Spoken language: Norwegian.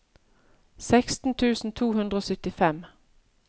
seksten tusen to hundre og syttifem